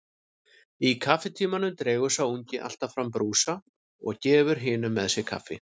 Í kaffitímanum dregur sá ungi alltaf fram brúsa og gefur hinum með sér kaffi.